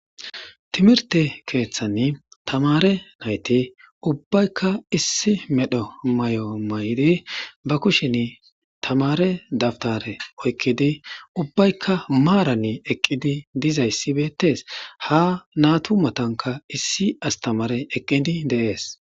Timirte keeththanni tamare nayti ubbaykka issi medho may7o maydi ba kushin tamare dabtare oykkidi ubbaykka maaranni eqqidi dizayssibeettees ha natu matanka issi astamare eqqidi deees.